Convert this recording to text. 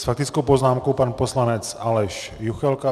S faktickou poznámkou pan poslanec Aleš Juchelka.